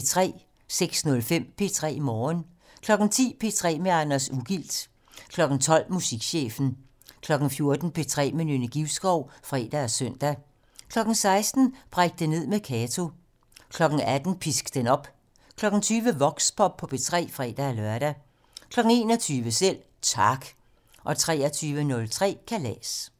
06:05: P3 Morgen 10:00: P3 med Anders Ugilt 12:00: Musikchefen 14:00: P3 med Nynne Givskov (fre og søn) 16:00: Bræk det ned med Kato 18:00: Pisk den op 20:00: Voxpop P3 (fre-lør) 21:00: Selv Tak 23:03: Kalas